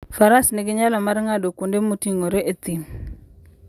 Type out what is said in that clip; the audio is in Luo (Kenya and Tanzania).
Faras nigi nyalo mar ng'ado kuonde moting'ore e thim.